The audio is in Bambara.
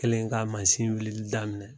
Kɛlen ka masin wulili daminɛ .